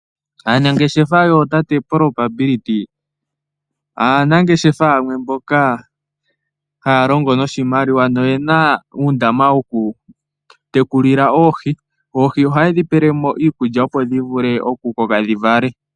Aanangeshefa yootate Probability aanangeshefa yamwe mboka haya longo noshimaliwa noye na uundama wokutekulila oohi. Oohi ohaye dhi pele mo iikulya, opo dhi vule okukoka dhi vale.